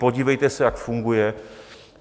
Podívejte se, jak funguje.